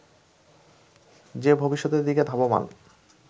যে ভবিষ্যতের দিকে ধাবমান